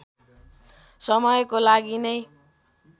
समयको लागि नै